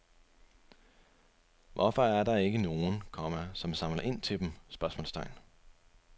Hvorfor er der ikke nogen, komma som samler ind til dem? spørgsmålstegn